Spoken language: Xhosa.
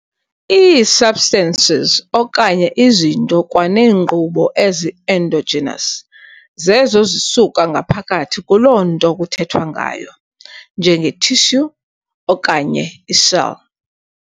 Ii-substances okanye izinto kwaneenkqubo ezi-endogenous zezo zisuka ngaphakathi kuloo nto kuthethwa ngayo, njenge-tissue, okanye i-cell.